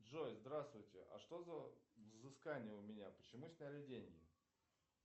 джой здравствуйте а что за взыскание у меня почему сняли деньги